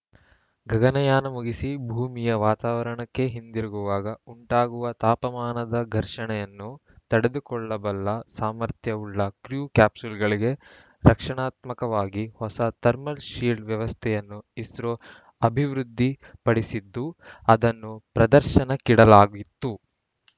ಗಗನಯಾನ ಮುಗಿಸಿ ಭೂಮಿಯ ವಾತಾವರಣಕ್ಕೆ ಹಿಂದಿರುಗುವಾಗ ಉಂಟಾಗುವ ತಾಪಮಾನದ ಘರ್ಷಣೆಯನ್ನು ತಡೆದುಕೊಳ್ಳಬಲ್ಲ ಸಾಮರ್ಥ್ಯವುಳ್ಳ ಕ್ರೂ ಕ್ಯಾಪ್ಸೂಲ್‌ಗಳಿಗೆ ರಕ್ಷಣಾತ್ಮಕವಾಗಿ ಹೊಸ ಥರ್ಮಲ್‌ ಶೀಲ್ಡ್‌ ವ್ಯವಸ್ಥೆಯನ್ನೂ ಇಸ್ರೋ ಅಭಿವೃದ್ಧಿ ಪಡಿಸಿದ್ದು ಅದನ್ನೂ ಪ್ರದರ್ಶನಕ್ಕಿಡಲಾಗಿತ್ತು